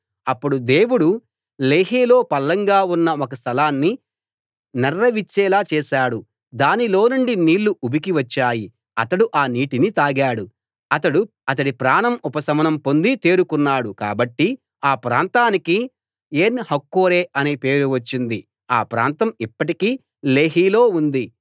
అప్పుడు దేవుడు లేహీలో పల్లంగా ఉన్న ఒక స్థలాన్ని నెర్రె విచ్చేలా చేశాడు దానిలోనుండి నీళ్ళు ఉబికి వచ్చాయి అతడు ఆ నీటిని తాగాడు అతడి ప్రాణం ఉపశమనం పొంది తేరుకున్నాడు కాబట్టి ఆ ప్రాంతానికి ఏన్ హక్కోరే అనే పేరు వచ్చింది ఆ ప్రాంతం ఇప్పటికీ లేహీ లో ఉంది